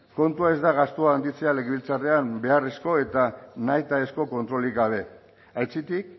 kontua ez da gastua handitzea legebiltzarrean beharrezko eta nahitaezko kontrolik gabe aitzitik